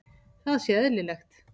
Það sé eðlilegt.